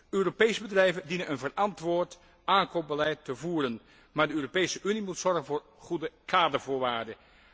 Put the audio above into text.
Europese bedrijven dienen een verantwoord aankoopbeleid te voeren, maar de Europese Unie moet zorgen voor goede kadervoorwaarden.